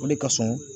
O de kasurun